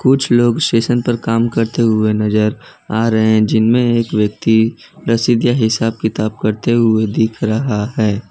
कुछ लोग स्टेशन पर काम करते हुए नजर आ रहे है जिनमें एक व्यक्ति रसीद या हिसाब किताब करते हुए दिख रहा है।